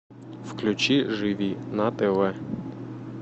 включи живи на тв